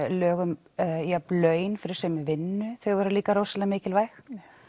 lög um jöfn laun fyrir sömu vinnu þau voru líka rosalega mikilvæg